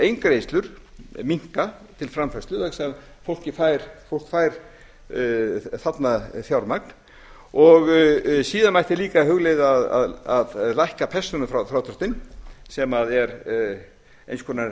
eingreiðslur minnka til framfærslu vegna þess að fólkið fær þarna fjármagn síðan mætti líka hugleiða að lækka persónufrádráttinn sem er eins konar